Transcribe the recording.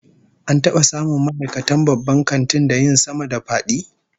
An taba samun ma'aikatan babban kantin da yin sama-da-fadi?